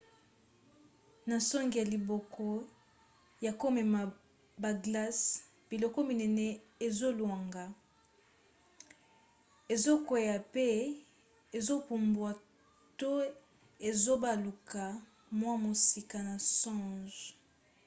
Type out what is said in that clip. na songe ya biloko ya komema baglace biloko minene ezolongwa ezokwea pe ezopumbwa to ezobaluka mwa mosika na songe